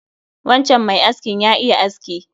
Wancan mai askin ya iya aski